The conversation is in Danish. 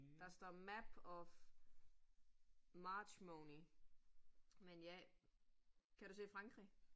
Der står map of Marchmony, men ja, kan du se Frankrig?